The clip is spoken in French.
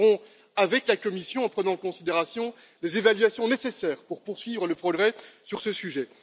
Nous le ferons avec la Commission, en prenant en considération les évaluations nécessaires pour poursuivre les progrès sur ce sujet.